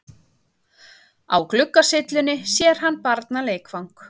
Á gluggasyllunni sér hann barnaleikfang.